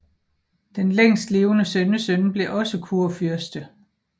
Den længstlevende sønnesøn blev også kurfyrste